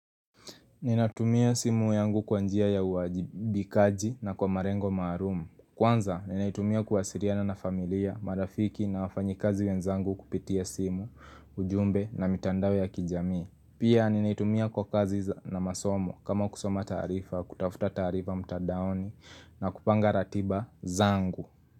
Ninatumia simu yangu kwa njia ya uwajibikaji na kwa malengo maalum. Kwanza ninaitumia kuwasiliana na familia, marafiki na wafanyikazi wenzangu kupitia simu, ujumbe na mitandao ya kijamii. Pia ninaitumia kwa kazi na masomo kama kusoma taarifa, kutafuta taarifa mtandaoni na kupanga ratiba zangu.